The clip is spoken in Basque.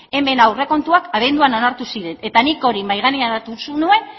hemen aurrekontuak abenduan onartu ziren eta nik hori mahai gainean hartu nuen